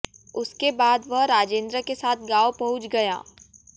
उसके बाद वह राजेंद्र के साथ गांव पहुंच गया